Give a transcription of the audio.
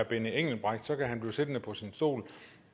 benny engelbrecht kan han blive siddende på sin stol